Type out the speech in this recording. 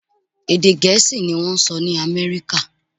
Èdè Gẹ̀ẹ́sì ni wọ́n ń sọ ní Amẹ́ríkà